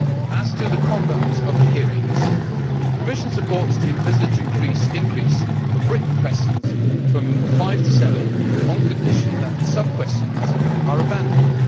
As to the conduct of the hearings, the Commission supports the envisaged increase of written questions from five to seven, on condition that sub-questions are abandoned.